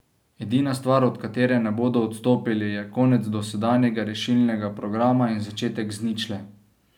Edina stvar, od katere ne bodo odstopili, je konec dosedanjega rešilnega programa in začetek z ničle.